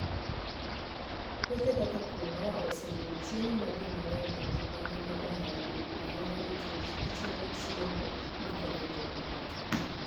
Puothe kaka quinoa osebedo chiemo ma ji mang'eny e piny mangima ohero ahinya nikech gichiemo chiemo makonyo ngimagi.